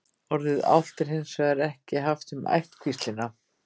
Orðið álft er hins vegar ekki haft um ættkvíslina.